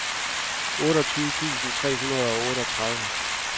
otteogtyve tusind tre hundrede og otteogtredive